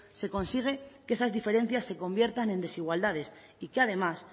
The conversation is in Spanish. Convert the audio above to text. se consigue que esas diferencias se conviertan en desigualdades y que además